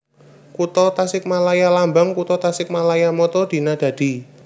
Kutha TasikmalayaLambang Kutha TasikmalayaMotto Dina Dadi